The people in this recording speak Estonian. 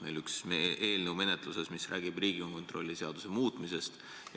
Meil on menetluses üks eelnõu, mis räägib Riigikontrolli seaduse muutmisest.